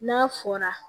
N'a fɔra